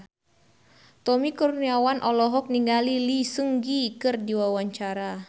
Tommy Kurniawan olohok ningali Lee Seung Gi keur diwawancara